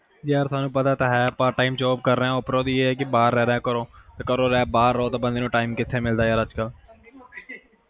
ਯਾਰ ਥੋਨੂੰ ਪਤਾ ਤਾ ਹੈ part time job ਕਰ ਰਿਹਾ ਉਪਰੋਂ ਦੀ ਇਹ ਹੈ ਕਿ ਬਾਹਰ ਰਹਿ ਰਿਹਾ ਘਰੋਂ ਹੁਣ ਘਰੋਂ ਬਾਹਰ ਰਹੋ ਤਾ ਬੰਦੇ ਨੂੰ time ਕਿਥੇ ਮਿਲਦਾ ਅੱਜ ਕਲ